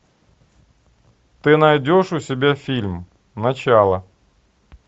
ты найдешь у себя фильм начало